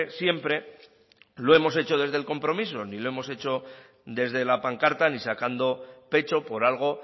siempre lo hemos hecho desde el compromiso ni lo hemos hecho desde la pancarta ni sacando pecho por algo